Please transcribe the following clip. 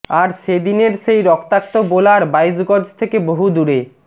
আর সে দিনের সেই রক্তাক্ত বোলার বাইশ গজ থেকে বহু দূরে